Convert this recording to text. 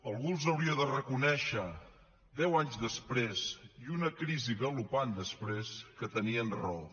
algú els hauria de reconèixer deu anys després i una crisi galopant després que tenien raó